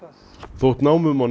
þótt námum og